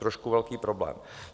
Trošku velký problém.